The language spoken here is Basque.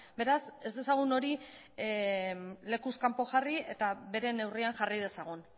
beraz ez dezagun hori lekuz kanpo jarri eta bere neurrian jarri dezagun